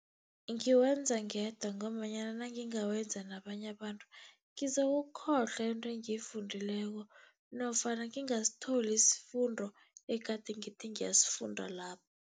Ngiwenza ngedwa, ngombanyana nangingawenza nabanye abantu, ngizokukhohlwa into engiyifundileko nofana ngingasitholi isifundo egade ngithi ngiyasifunda lapho.